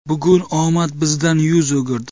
Bugun omad bizdan yuz o‘girdi.